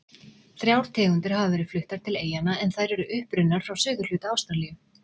Þrjár tegundir hafa verið fluttar til eyjanna en þær eru upprunnar frá suðurhluta Ástralíu.